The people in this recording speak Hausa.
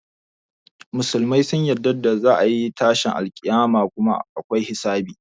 Musulmai sun yarda za a yi tashin alƙiyama kuma akwai hisabi.